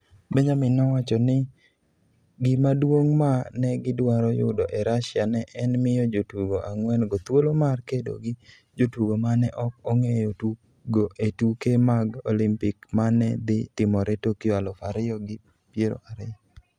Benjamin nowacho ni gima duong' ma ne gidwaro yudo e Russia ne en miyo jotugo ang'wen-go thuolo mar kedo gi jotugo ma ne ok ong'eyo tugo e tuke mag Olimpik ma ne dhi timore Tokyo aluf ariyo gi piero ariyo.